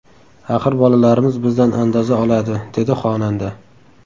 Axir bolalarimiz bizdan andoza oladi”, dedi xonanda.